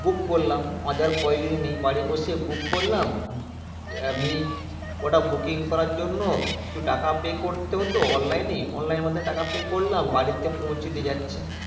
Book করলাম। ও যাওয়ার প্রয়োজনই নেই। বাড়ি বসে book করলাম। আমি কটা booking করার জন্য কিছু টাকা pay করতে হতো online এ, online এর মাধ্যমে টাকা pay করলাম। বাড়িতে পৌঁছে দিয়ে যাচ্ছে।